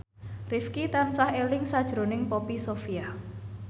Rifqi tansah eling sakjroning Poppy Sovia